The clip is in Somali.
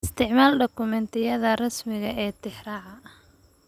Isticmaal dukumentiyada rasmiga ah ee tixraaca.